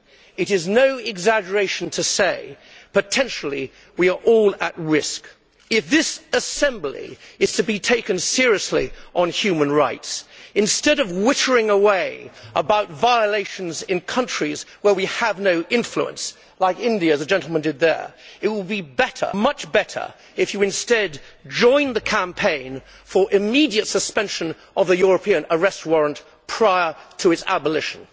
It is no exaggeration to say that potentially we are all at risk. If this Assembly is to be taken seriously on human rights, instead of wittering away about violations in countries where we have no influence like India, as the gentleman did there it would be much better if you instead joined the campaign for immediate suspension of the European Arrest Warrant prior to its abolition.